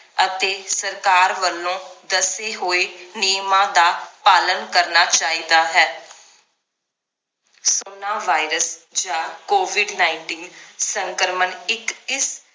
ਅਤੇ ਸਰਕਾਰ ਵੱਲੋਂ ਦੱਸੇ ਹੋਏ ਨਿਯਮਾਂ ਦਾ ਪਾਲਣ ਕਰਨਾ ਚਾਹੀਦਾ ਹੈ ਕਰੋਨਾ ਵਾਇਰਸ ਜਾਂ covid nineteen ਸੰਕ੍ਰਮਣ ਇਕ ਇਸ